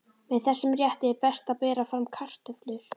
Með þessum rétti er best að bera fram kartöflur.